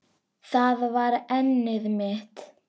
Það var efnið mitt.